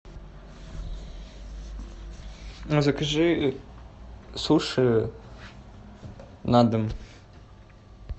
закажи суши на дом